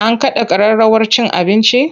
An kada kararrawar cin abincin?